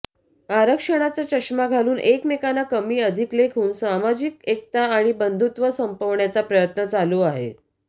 आरक्षणाचा चष्मा घालून एकमेकांना कमी अधिक लेखून सामाजिक एकता आणि बंधुत्व संपवण्याचा प्रयत्न चालू आहे